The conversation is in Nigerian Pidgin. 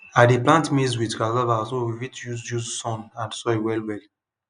i dey plant maize with cassava so we fit use use sun and soil well well